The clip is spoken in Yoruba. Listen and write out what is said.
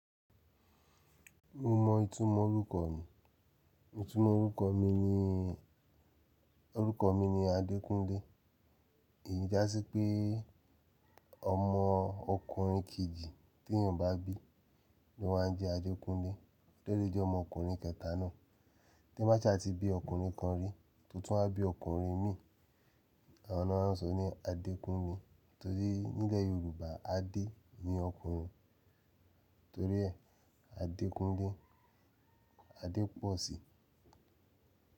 Mo mọ ìtumọ̀ orúkọ mi. Ìtumọ̀ orúkọ mi ni, orúkọ mi ni Adékúnlé. Èyí já sí pé ọmọ ọkùnrin kejì tèyàn bá bí lọ́ máa ń jẹ́ Adékúnlé. Délé jẹ́ ọmọ ọkùnrin kẹta náà. Te ba sha ti bí ọkùnrin kan rí, to tun wa bí ọkùnrin mì, àwọn náà ó sọ ni Adékúnmi. Torí nílẹ̀ Yorùbá Adé ni ọkùnrin. Torí ẹ Adékúnlé, Adépọ̀ṣì.